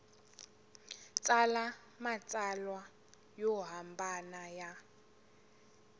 tsala matsalwa yo hambana ya